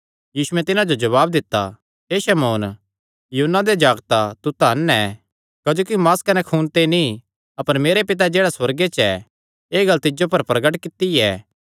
यीशुयैं तिन्हां जो जवाब दित्ता हे शमौन योना दे जागता तू धन ऐ क्जोकि मांस कने खून ते नीं अपर मेरे पितैं जेह्ड़ा सुअर्गे च ऐ एह़ गल्ल तिज्जो पर प्रगट कित्ती ऐ